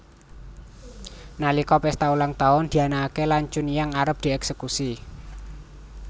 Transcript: Nalika pesta ulang tahun dianakake lan Chunhyang arep dieksekusi